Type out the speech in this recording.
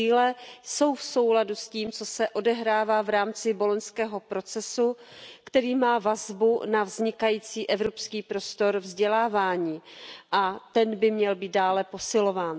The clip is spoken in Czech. Cíle jsou v souladu s tím, co se odehrává v rámci Boloňského procesu, který má vazbu na vznikající evropský prostor vzdělávání, a ten by měl být dále posilován.